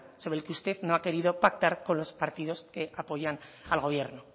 sobre el que usted no ha querido pactar con los partidos que apoyan al gobierno